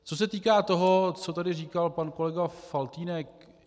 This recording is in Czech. Co se týká toho, co tady říkal pan kolega Faltýnek.